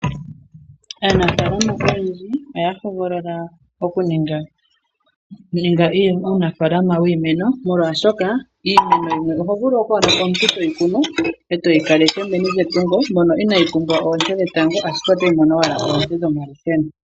Aanafaalama oyendji oya hogolola oku ninga uunafaalama wiimeno molwaashoka iimeno yimwe oho vulu okwaadha omuntu toyi kunu e toyi kaleke meni lyetungo mono inayi pumbwa oonte dhetango ashike otayi mono owala oonte dhomalusheno.